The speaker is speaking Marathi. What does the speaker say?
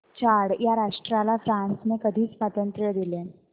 चाड या राष्ट्राला फ्रांसने कधी स्वातंत्र्य दिले